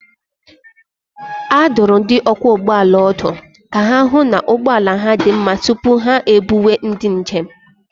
A dụrụ ndị ọkwọ ụgbọala ọdụ ka ha hụ na ụgbọ ala ha dị mma tupu ha ebuwe ndị njem